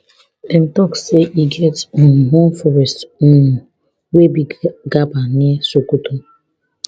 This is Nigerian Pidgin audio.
dem tok say e get um one forest um wey be gaba near sokoto